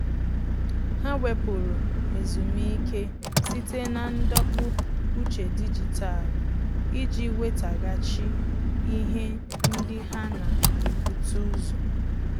Há wèpụ̀rụ̀ ezumike site na ndọpụ uche dijitalụ iji nwétàghàchí ihe ndị há nà-ebute ụzọ.